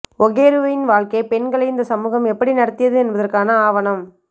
ஒஹெருவின் வாழ்க்கை பெண்களை இந்த சமூகம் எப்படி நடத்தியது என்பதற்கான ஆவணம்